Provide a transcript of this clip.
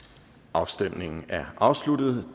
afstemningen er afsluttet